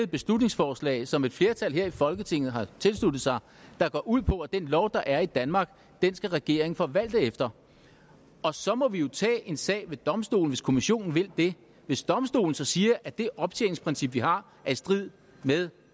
beslutningsforslag som et flertal her i folketinget har tilsluttet sig der går ud på at den lov der er i danmark skal regeringen forvalte efter og så må vi jo tage en sag ved domstolen hvis kommissionen vil det hvis domstolen så siger at det optjeningsprincip vi har er i strid med